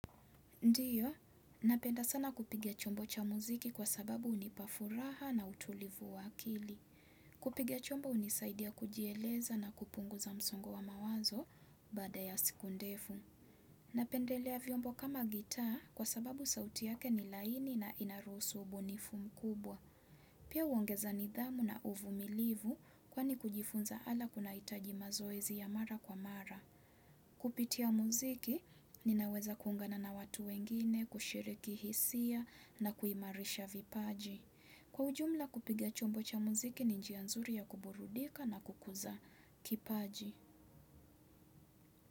Ndiyo, napenda sana kupiga chombo cha muziki kwa sababu hunipa furaha na utulivu wa akili. Kupiga chombo hunisaidia kujieleza na kupunguza msongo wa mawazo baada ya siku ndefu. Napendelea vyombo kama gitaa kwa sababu sauti yake ni laini na inaruhusu ubunifu mkubwa. Pia huongeza nidhamu na uvumilivu kwani kujifunza ala kunahitaji mazoezi ya mara kwa mara. Kupitia muziki, ninaweza kuungana na watu wengine, kushiriki hisia na kuimarisha vipaji. Kwa ujumla kupiga chombo cha muziki, ni njia nzuri ya kuburudika na kukuza kipaji.